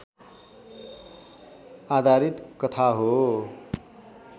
आधारित कथा हो